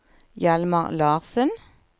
Hjalmar Larssen